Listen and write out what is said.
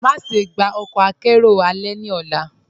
Máṣẹ̀ gbà ọkọ àkẹ̀rẹo alẹ̀ ní ọ̀là.